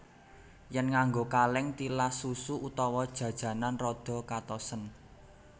Yèn nganggo kalèng tilas susu utawa jajanan rada katosen